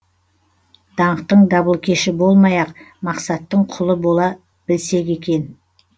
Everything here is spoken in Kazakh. даңқтың дабылкеші болмай ақ мақсаттың құлы бола білсек екен